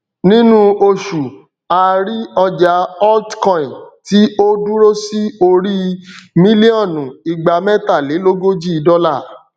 nínú oṣù a rí ọjà altcoin tí ó dúró sí orí í mílíònù igbamẹtalélógójì dọlà